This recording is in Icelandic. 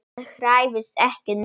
Hann hræðist ekki neitt.